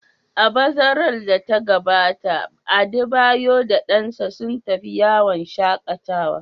A bazarar da ta gabata, Adebayor da dansa sun tafi yawon shaƙatawa.